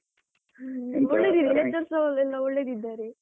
Lecturers ನವರೆಲ್ಲಾ ಒಳ್ಳೆದಿದ್ದಾರೆ.